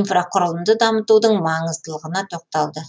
инфрақұрылымды дамытудың маңыздылығына тоқталды